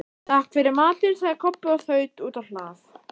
Takk fyrir matinn, sagði Kobbi og þaut út á hlað.